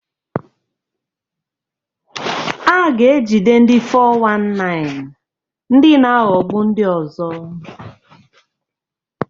A ga-ejide ndi 419 (ndị na-aghọgbu ndị ọzọ).